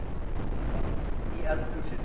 Það var hlýtt í eldhúsinu.